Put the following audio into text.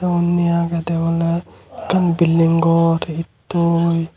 tey undi agey de ola akkan building gor ed toi.